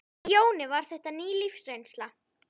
Fyrir Jóni var þetta ný lífsreynsla.